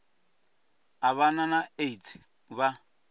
u vha na aids vha